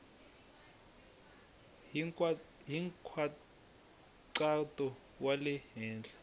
hi nkhaqato wa le henhla